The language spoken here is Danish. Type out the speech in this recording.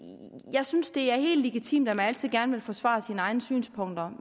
jeg synes det er helt legitimt at man altid gerne vil forsvare sine egne synspunkter